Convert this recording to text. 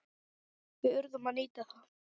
Við urðum að nýta það.